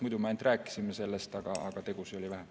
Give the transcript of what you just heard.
Muidu me ainult rääkisime sellest, aga tegusid oli vähem.